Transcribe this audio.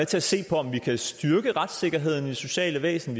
til at se på om vi kan styrke retssikkerheden i det sociale væsen